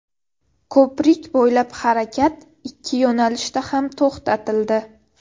Ko‘prik bo‘ylab harakat ikki yo‘nalishda ham to‘xtatildi.